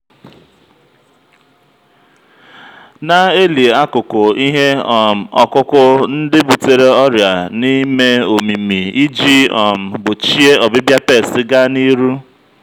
na-eli akụkụ ihe um ọkụkụ ndị butere ọrịa n'ime omimi iji um gbochie ọbịbịa pesti ga n'ihu.